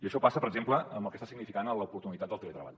això passa per exemple amb el que està significant l’oportunitat del teletreball